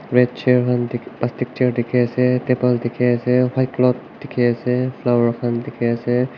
red chair khan te plastic chair dekhi ase table dekhi ase white clothes dekhi ase flower khan dekhi ase